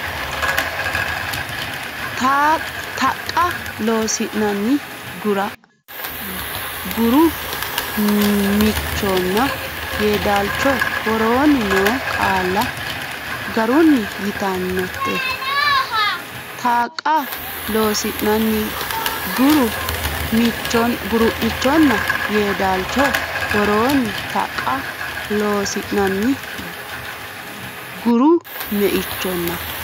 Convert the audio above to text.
Taaqa Loossinanni Guru miichonna Yeedaalcho woroonni noo qaalla garunni yitannote Taaqa Loossinanni Guru miichonna Yeedaalcho woroonni Taaqa Loossinanni Guru miichonna.